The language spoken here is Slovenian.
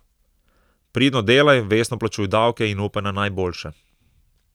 Pridno delaj, vestno plačuj davke in upaj na najboljše.